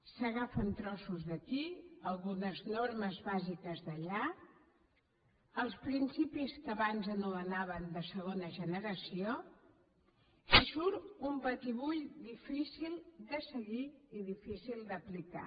s’agafen trossos d’aquí algunes normes bàsiques d’allà els principis que abans anomenaven de segona generació i surt un batibull difícil de seguir i difícil d’aplicar